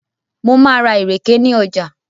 Mo máa ra ìrèké ní ọjà.